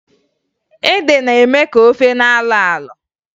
Ede na-eme ofe ka ọ na-alọ alọ